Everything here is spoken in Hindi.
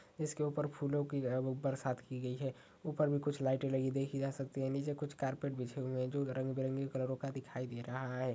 इसके ऊपर फूलों की तरह बरसात की गई है ऊपर में कुछ लाइटें लगी देखी जा सकती हैं नीचे कुछ कारपेट बिछे हुए हैं जो रंग बिरंगे कलरों का दिखाई दे रहा है।